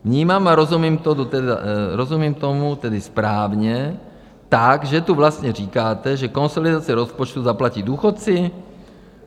Vnímám a rozumím tomu tedy správně tak, že tu vlastně říkáte, že konsolidaci rozpočtu zaplatí důchodci?